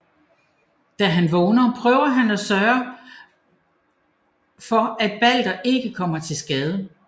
Da han vågner prøver han at sørge får at Balder ikke kommer til skade